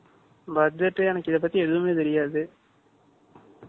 5 . Budget எனக்கு இதைப்பத்தி எதுவுமே தெரியாது